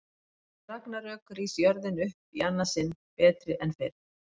Eftir ragnarök rís jörðin upp í annað sinn, betri en fyrr.